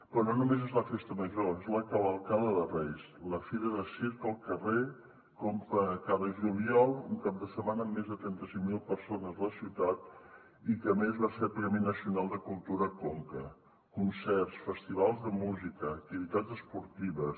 però no només és la festa major és la cavalcada de reis la fira de circ al carrer cada juliol un cap de setmana amb més de trenta cinc mil persones a la ciutat i que a més va ser premi nacional de cultura conca concerts festivals de música activitats esportives